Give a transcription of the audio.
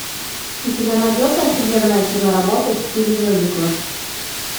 у тебя найдется офигенная киноработа в стиле мюзикла